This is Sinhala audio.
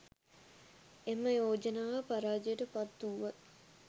එම යෝජනාව පරාජයට පත් වුවත්